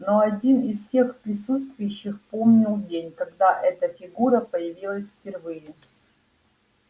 он один из всех присутствующих помнил день когда эта фигура появилась впервые